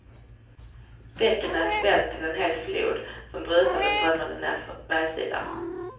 Bäcken hade svällt till en hel flod, som brusande strömmade nerför bergssidan.